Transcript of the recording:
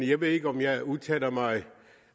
jeg ved ikke om jeg udtaler mig